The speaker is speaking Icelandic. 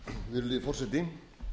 virðulegi forseti